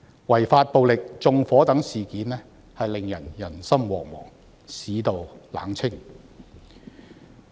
違法暴力、縱火等事件令到人心惶惶，市道冷清。